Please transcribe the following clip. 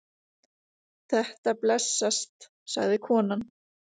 Þetta blessast, sagði konan.